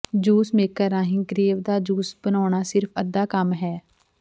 juice maker ਰਾਹੀਂ grape ਦਾ juice ਬਣਾਉਣਾ ਸਿਰਫ ਅੱਧਾ ਕੰਮ ਹੈ